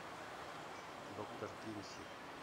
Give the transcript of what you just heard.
доктор кинси